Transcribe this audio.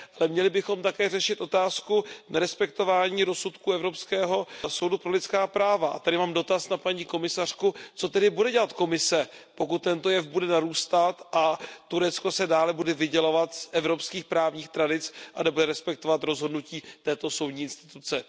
Měli bychom také řešit otázku nerespektování rozsudku Evropského soudu pro lidská práva. Tady mám dotaz na paní komisařku Co tedy bude dělat Komise, pokud tento jev bude narůstat a Turecko se bude dále vydělovat z evropských právních tradic a nebude respektovat rozhodnutí této soudní instituce?